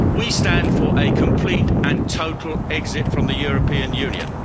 We stand for a complete and total exit from the European Union.